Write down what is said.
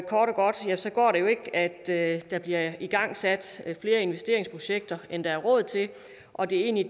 godt går det jo ikke at der bliver igangsat flere investeringsprojekter end der er råd til og det er egentlig